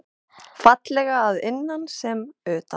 Fallega að innan sem utan.